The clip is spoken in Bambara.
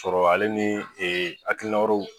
Sɔrɔ ale ni e akilina wɛrɛw